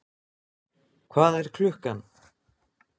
Hvað er klukkan?